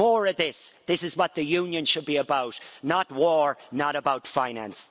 More of this this is what the Union should be about, not war and not about finance.